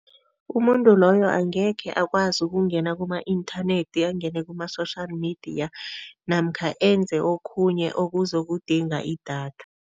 Umuntu loyo angekhe akwazi ukungena kuma-inthanethi, angene kuma-social media namkha enze okhunye okuzokudinga idatha.